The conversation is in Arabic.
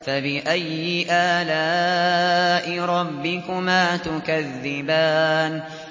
فَبِأَيِّ آلَاءِ رَبِّكُمَا تُكَذِّبَانِ